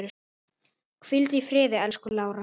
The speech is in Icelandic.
Hvíldu í friði, elsku Lára.